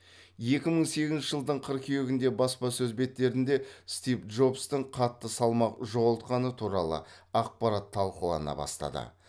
екі мың сегізінші жылдың қыркүйегінде баспасөз беттерінде стив джобстың қатты салмақ жоғалтқаны туралы ақпарат талқылана бастады